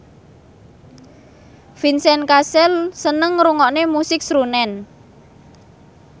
Vincent Cassel seneng ngrungokne musik srunen